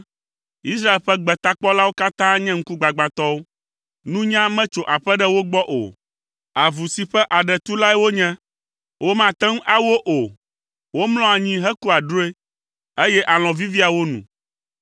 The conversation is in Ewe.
Israel ƒe gbetakpɔlawo katã nye ŋkugbagbãtɔwo. Nunya metso aƒe ɖe wo gbɔ o. Avu si ƒe aɖe tu lae wonye. Womate ŋu awo o. Womlɔa anyi hekua drɔ̃e, eye alɔ̃ vivia wo nu.